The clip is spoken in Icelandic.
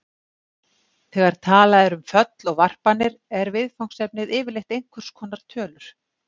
Þegar talað er um föll og varpanir er viðfangsefnið yfirleitt einhvers konar tölur.